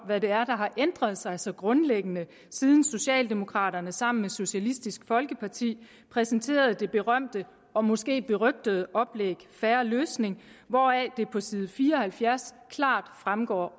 hvad det er der har ændret sig så grundlæggende siden socialdemokraterne sammen med socialistisk folkeparti præsenterede det berømte og måske berygtede oplæg fair løsning hvoraf det på side fire og halvfjerds klart fremgår